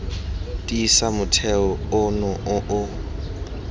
tiisa motheo ono o o